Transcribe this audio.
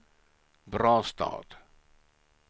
Brastad